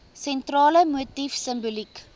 sentrale motief simboliek